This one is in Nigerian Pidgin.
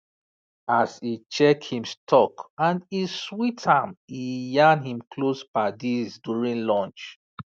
as e check him stock and e sweet am e yarn him close paddies during lunch